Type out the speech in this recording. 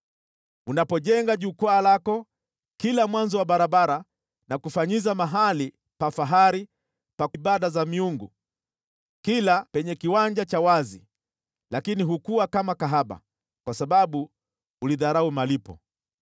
Unapojenga jukwaa lako kila mwanzo wa barabara na kufanyiza mahali pa fahari pa ibada za miungu katika kila kiwanja cha wazi, lakini hukuwa kama kahaba, kwa sababu ulidharau malipo.